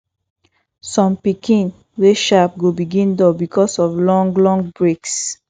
som pikin wey sharp go begin dull because of long long breaks